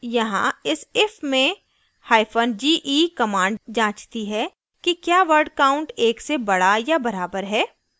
यहाँ इस if में हाइफन ge कमांड जाँचती है कि क्या वर्ड काउंट एक से बड़ा या बराबर है